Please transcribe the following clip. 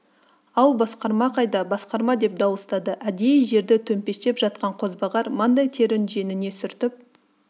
ау басқарма қайда басқарма деп дауыстады әдейі жерді төмпештеп жатқан қозбағар маңдай терін жеңіне сүртіп